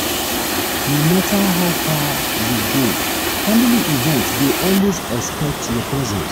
no matter how far you go family event dey always expect your presence.